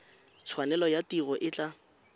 tshwanelo ya tiro e tla